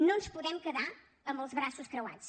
no ens podem quedar amb els braços creuats